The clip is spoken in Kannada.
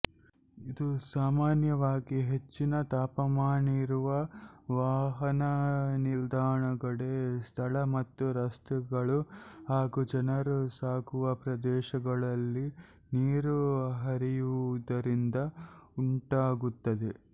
ಇದು ಸಾಮಾನ್ಯವಾಗಿ ಹೆಚ್ಚಿನ ತಾಪಮಾನವಿರುವ ವಾಹನನಿಲುಗಡೆ ಸ್ಥಳ ಮತ್ತು ರಸ್ತೆಗಳು ಹಾಗೂ ಜನರು ಸಾಗುವ ಪ್ರದೇಶಗಳಲ್ಲಿ ನೀರು ಹರಿಯುವುದರಿಂದ ಉಂಟಾಗುತ್ತದೆ